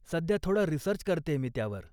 सध्या थोडा रिसर्च करतेय मी त्यांवर.